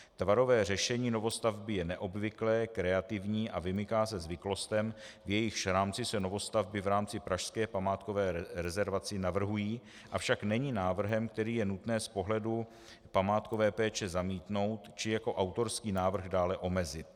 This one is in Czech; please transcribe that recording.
Tvarové řešení novostavby je neobvyklé, kreativní a vymyká se zvyklostem, v jejichž rámci se novostavby v rámci pražské památkové rezervace navrhují, avšak není návrhem, který je nutné z pohledu památkové péče zamítnout či jako autorský návrh dále omezit.